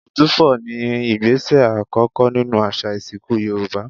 Ìtúfọ̀ ni ìgbésẹ̀ àkọ́kọ́ nínú àṣà ìsìnkú Yorùbá